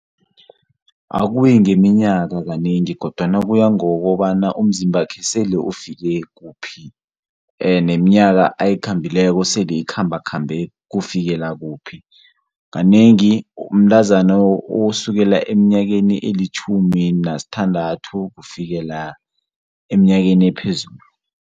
Akuyi ngeminyaka kanengi kodwana kuya ngokobana umzimbakhe sele ufike kuphi, neminyaka ayikhambileko sele ikhambakhambe kufikela kuphi, kanengi mntazana osukela eminyakeni elitjhumi nasithandathu kufikela eminyakeni ephezulu.